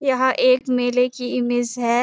यह एक मेले की इमेज़ है।